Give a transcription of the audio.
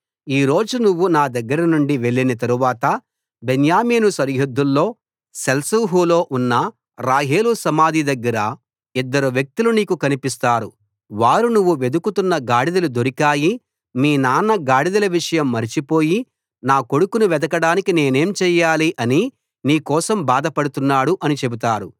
ఈ రోజు నువ్వు నా దగ్గర నుండి వెళ్ళిన తరువాత బెన్యామీను సరిహద్దులో సెల్సహులో ఉన్న రాహేలు సమాధి దగ్గర ఇద్దరు వ్యక్తులు నీకు కనిపిస్తారు వారు నువ్వు వెదకుతున్న గాడిదలు దొరికాయి మీ నాన్న గాడిదల విషయం మరచిపోయి నా కొడుకును వెదకడానికి నేనేం చెయ్యాలి అని నీ కోసం బాధ పడుతున్నాడు అని చెబుతారు